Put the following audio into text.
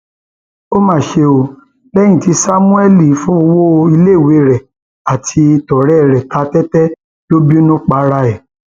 ó mà ṣe o lẹyìn tí samuel fọwọ iléiwé rẹ àti tọrẹ ẹ ta tẹtẹ ló bínú para ẹ